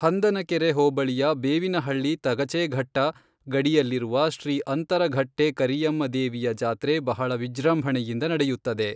ಹಂದನಕೆರೆ ಹೋಬಳಿಯ ಬೇವಿನಹಳ್ಳಿ ತಗಚೇಘಟ್ಟ ಗಡಿಯಲ್ಲಿರುವ ಶ್ರೀ ಅಂತರಘಟ್ಟೆ ಕರಿಯಮ್ಮ ದೇವಿಯ ಜಾತ್ರೆ ಬಹಳ ವಿಜೃಂಭಣೆ ಇಂದ ನಡೆಯುತ್ತದೆ